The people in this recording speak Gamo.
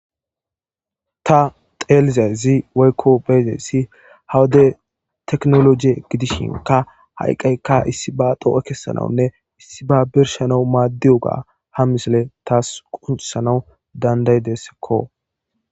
Taa xellizayiss woyikko be'izayiss haa wode techinoloji gidishinkka haa eqqayikka issibas oge kesanawunne issibba birrshshanawu madiyoga haa missileyi qonccissanawu danida'idesskko.